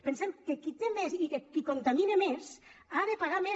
pensem que qui té més i qui contamina més ha de pagar més